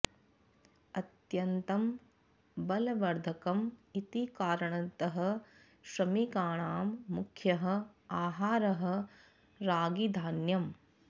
अत्यन्तं बलवर्धकम् इति कारणतः श्रमिकाणां मुख्यः आहारः रागीधान्यम्